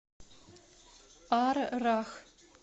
аррах